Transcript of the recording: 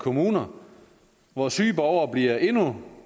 kommuner hvor syge borgere bliver endnu